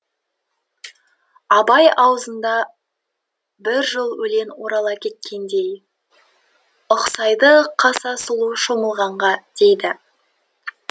абай аузында бір жол өлең орала кеткендей ұқсайды қаса сұлу шомылғанға дейді